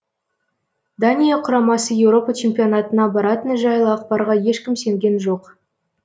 дания құрамасы еуропа чемпионатына баратыны жайлы ақпарға ешкім сенген жоқ